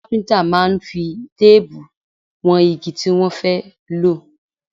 Àwọn kápíntà máa ń fi téèbù wọn igi tí wọ́n bá fẹ́ lò